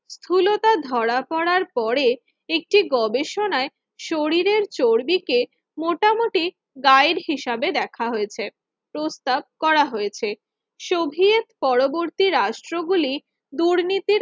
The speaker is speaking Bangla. ধরা পড়ার পরে একটি গবেষণায় শরীরের চর্বিকে মোটামুটি guide হিসেবে দেখা হয়েছে প্রস্তাব করা হয়েছে সোভিয়েত পরবর্তী রাষ্ট্রগুলো দুর্নীতি